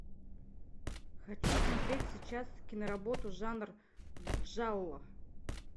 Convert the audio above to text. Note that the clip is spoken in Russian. хочу смотреть сейчас киноработу жанр джалло